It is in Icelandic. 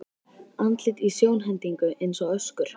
Andlit í sjónhendingu eins og öskur.